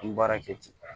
An ye baara kɛ ten